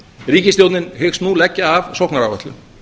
ríkisstjórnin hyggst nú leggja af sóknaráætlun